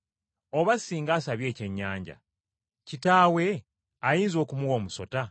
Oba singa asabye ekyennyanja, kitaawe ayinza okumuwa omusota?